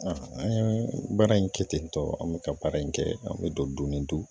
An ye baara in kɛ ten tɔ an bɛ ka baara in kɛ an bɛ don ni don